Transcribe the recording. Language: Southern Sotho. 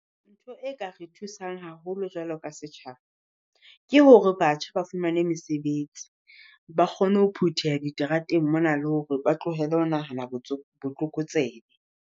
Ntho e ka re thusang haholo jwalo ka setjhaba, ke hore batjha ba fumane mesebetsi. Ba kgone ho phutheha diterateng mona le hore ba tlohele ho nahana botlokotsebe.